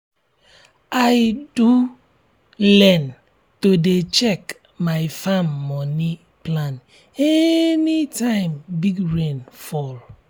i do learn to dey check my farm moni plan anytime big rain fall.